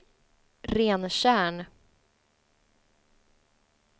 Rentjärn